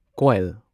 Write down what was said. ꯀꯣꯢꯜ